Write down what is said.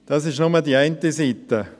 Das ist nur die eine Seite.